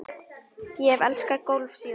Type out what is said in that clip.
Ég hef elskað golf síðan.